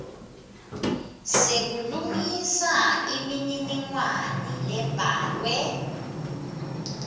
sekulungisa imininingwane lebhalwe